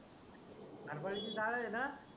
हरभऱ्याची डाळ येणा